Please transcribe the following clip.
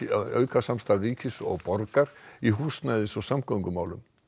og auka samstarf ríkis og borgar í húsnæðis og samgöngumálum